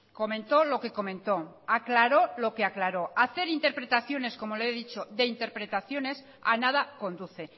comentó lo que comentó aclaró lo que aclaró hacer interpretaciones como le he dicho de interpretaciones a nada conduce